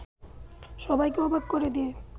সবাইকে অবাক করে দিয়ে